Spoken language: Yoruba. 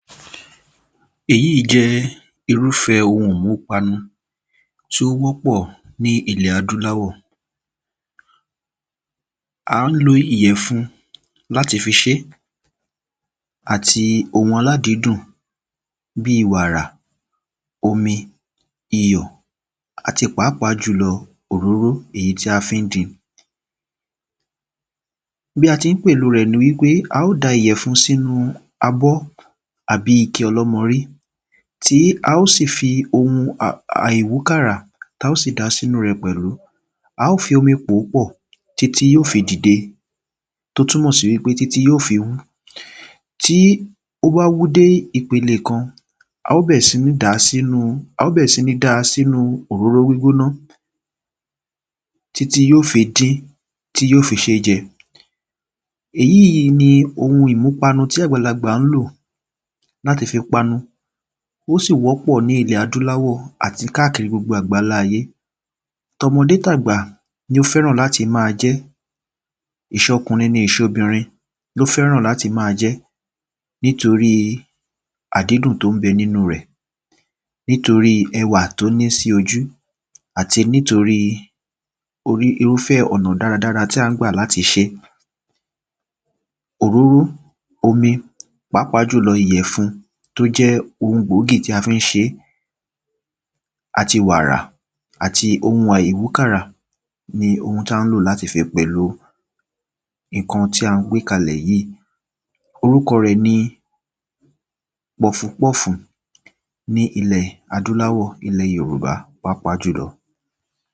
Èyí jẹ́ irúfẹ́ ohun ìmúpanu tí ó wọ́pọ̀ ní ilẹ̀ adúláwọ̀, à ń lo ìyẹ̀fun láti fi ṣe é, àti ohun aládìídùn, bíi wàrà, omi, iyọ̀ àti pàápàá jùlọ òróró èyí tí a fi ń dín-in. bí a ti ń pèlo rẹ̀ ni wípé a óò da ìyẹ̀fun sí inú abọ́ àbí ike ọlọ́mọrí tí a ò sì fi ohun àìwúkàrà tí a ò sì dàá sí inú rẹ̀ pẹ̀lú a óò fi omi pòó pọ̀ títí yóò fi dìde, tó túnmọ̀ sí wípé títí yóò fi wú, tí ó bá wú dé ìpele kan a o bẹ̀rẹ̀ sìí dáa sínu òróró gbígbóná títí yóò fi dín, tí yóò fi ṣe é jẹ. Èyí ni ohun ìmúpanu tí àgbàlagbà lò láti fi panu, ó sì wọ́pọ̀ ní ilẹ̀ adúláwọ̀ àti káàkiri gbogbo àgbálá ayé tọmọdé tàgbà ló fẹ́ràn láti máa jẹ ẹ́, ìṣọkùnrin, ìṣobìnrin ló fẹ́ràn láti má a jẹ ẹ́ nítorí àdídùn tó ń bẹ nínu rẹ̀ Nítorí ẹwà tí ó ní sí ojú, àti nítorí irúfẹ́ ọ̀nà dáradára tí à ń gbà láti ṣe é, Òróró, omi, pàápàá jùlọ ìyẹ̀fun tí ó jẹ́ ohun gbòógì tí a fi ń ṣe é, àti wàrà, àti ohun àìwúkàrà ni ohun tí a lò láti fi pèlo ǹkan tí a gbé kalẹ̀ yìí orúkọ rẹ̀ ni pọfupọ́ọ̀fù ní ilẹ̀ adúláwọ̀, ní ilẹ̀ Yorùbá pàápàá jùlọ.